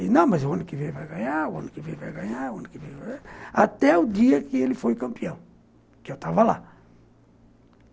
E não, mas o ano que vem vai ganhar, o ano que vem vai ganhar, o ano que vem vai ganhar... Até o dia que ele foi campeão, que eu estava lá.